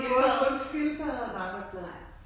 Hun havde både fået en skildpadde og en ABBA plade